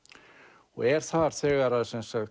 og er þar þegar